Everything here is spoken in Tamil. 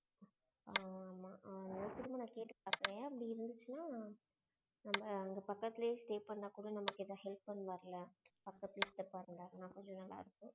ஆமா. அவர நான் ஏற்கனவே கேட்டு பாத்தேன். அப்படி இருந்துச்சுன்னா நம்ம அங்க பக்கத்துலேயே stay பண்ணா கூட நமக்கு ஏதாவது help பண்ணுவாருல? பக்கத்துலையே சித்தப்பா இருந்தா கொஞ்சம் நல்லா இருக்கும்.